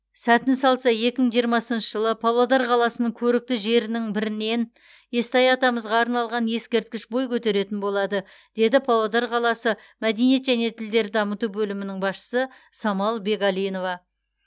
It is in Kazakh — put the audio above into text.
сәтін салса екі мың жиырмасыншы жылы павлодар қаласының көрікті жерінің бірінен естай атамызға арналған ескерткіш бой көтеретін болады деді павлодар қаласы мәдениет және тілдерді дамыту бөлімінің басшысы самал бегалинова